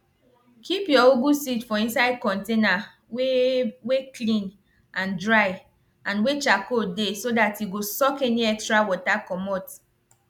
keep your ugu seed for inside container wey wey clean and dry and wey charcoal dey so that e go suck any extra water comot